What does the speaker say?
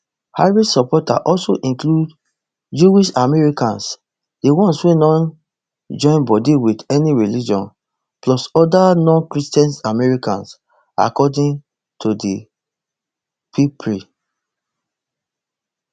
harris supporter also include jewishamericans di ones wey no join body wit any religion plus oda nonchristian americans according to di ppri